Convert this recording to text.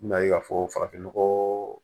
N bɛna ye k'a fɔ farafinnɔgɔ